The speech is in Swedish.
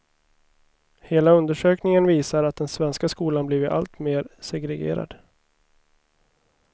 Hela undersökningen visar att den svenska skolan blivit allt mer segregerad.